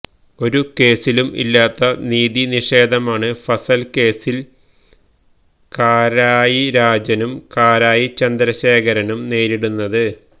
ഒരു കേസിലും ഇല്ലാത്ത നീതി നിഷേധമാണ് ഫസല് കേസില് കാരായി രാജനും കാരായി ചന്ദ്രശേഖരനും നേരിടുന്നത്